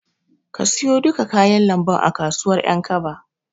Ka siyo duka kayan lambun a kasuwar Ƴankaba.